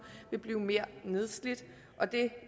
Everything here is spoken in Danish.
vil blive mere nedslidt og det